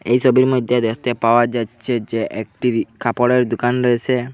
এই ছবির মইধ্যে দেখতে পাওয়া যাচ্ছে যে একটি কাপড়ের দোকান রয়েছে।